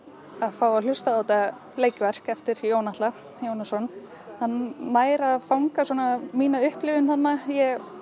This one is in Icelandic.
fá að hlusta á þetta leikverk eftir Jón Atla Jónasson hann nær að fanga svona mína upplifun þarna ég